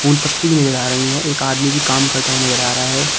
पत्ती भी नजर आ रही हैं एक आदमी भी काम करता हुआ नजर आ रहा है।